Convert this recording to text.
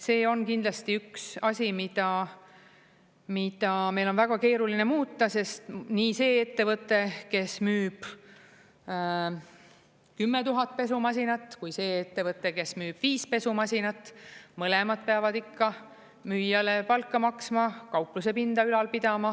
See on kindlasti üks asi, mida meil on väga keeruline muuta, sest nii see ettevõte, kes müüb 10 000 pesumasinat, kui see ettevõte, kes müüb viis pesumasinat, mõlemad peavad ikka müüjale palka maksma, kauplusepinda ülal pidama.